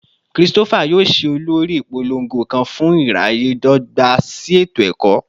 Christopher yoo ṣe olori ipolongo kan fun iraye dogba si eto-ẹkọ